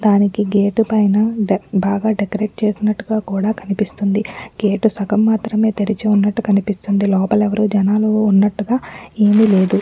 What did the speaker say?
దానికి గేట్ పైన బాగా డెకరేట్ చేసినట్లుగా కూడా కనిపిస్తుంది గేట్ సగం మాత్రమే తెరిచివున్నటు కనిపిస్తుంది లోపల ఎవ్వరూ జనాలు ఉన్నట్లుగా ఏమిలేదు.